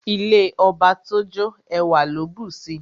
Ilé ọba tó jó, ẹwà ló bùsi.